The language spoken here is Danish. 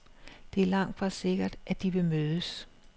Det er langtfra sikkert, at de vil mødes.